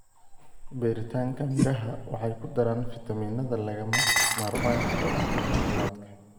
Beeritaanka miraha waxay ku daraan fiitamiinnada lagama maarmaanka u ah caafimaadka.